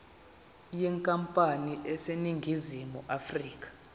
yenkampani eseningizimu afrika